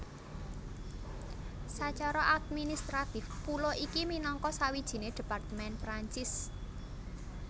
Sacara administratif pulo iki minangka sawijine departemen Perancis